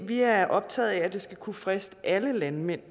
vi er optaget af at det skal kunne friste alle landmænd